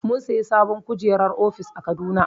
Mun sayi sabon kujerar ofis a Kaduna.